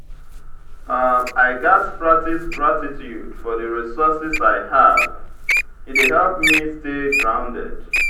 i gats practice gratitude for the resources i have; e dey help me stay grounded.